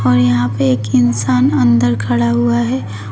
यहां पे एक इंसान अंदर खड़ा हुआ है।